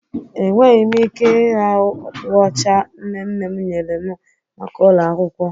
Enweghị m ike ịra okpu ọcha nne nne m nyere m maka ụlọ akwụkwọ.